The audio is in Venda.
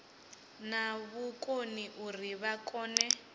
na vhukoni uri vha kone